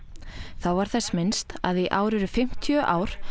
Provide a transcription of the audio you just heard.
þá var þess minnst að í ár eru fimmtíu ár